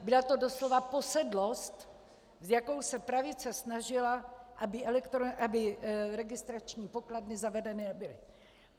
Byla to doslova posedlost, s jakou se pravice snažila, aby registrační pokladny zavedeny nebyly.